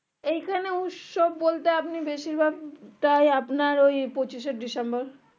এই খানে উৎসব বলতে আপনি বেশির ভাগ